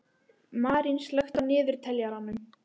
Marín, slökktu á niðurteljaranum.